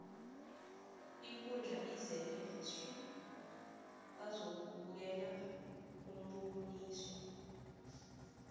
ikundla izele swi bazokubukela umboniso